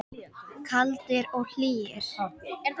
Kaldir og hlýir.